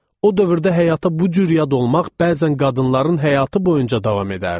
O dövrdə həyata bu cür yad olmaq bəzən qadınların həyatı boyunca davam edərdi.